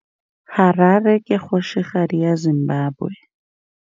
Harare ke kgosigadi ya Zimbabwe.